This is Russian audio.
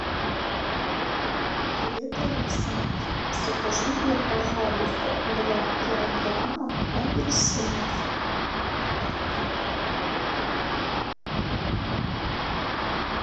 привет алиса закажи мне пожалуйста два килограмма апельсинов